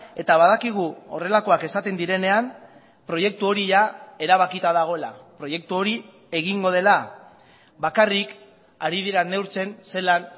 eta badakigu horrelakoak esaten direnean proiektu hori erabakita dagoela proiektu hori egingo dela bakarrik ari dira neurtzen zelan